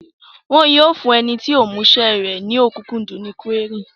Wọn yóò fún ẹni tí kò mú isẹ́ rẹ̀ ní ọ̀kúnkúndùn ní kúérì